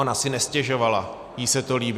Ona si nestěžovala, jí se to líbilo.